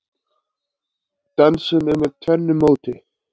Dansinn er með tvennu móti.